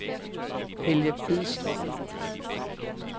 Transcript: Helge Bidstrup